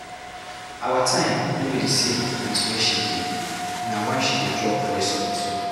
Our time no be di same wit where she dey na why she dey drop voice note.